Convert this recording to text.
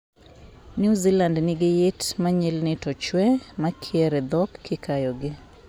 New Zealand nigi yiit ma nyilni to chwe makier e dhok kikayogi.